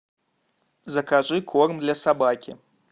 закажи корм для собаки